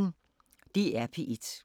DR P1